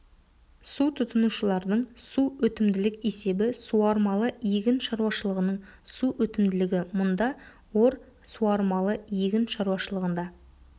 су тұтынушылардың су өтімділік есебі суармалы егін шаруашылығының су өтімділігі мұнда ор суармалы егін шаруашылығында